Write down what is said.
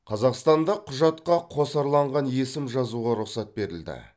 қазақстанда құжатқа қосарланған есім жазуға рұқсат берілді